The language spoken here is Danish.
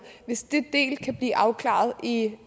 hvis det kan blive afklaret i i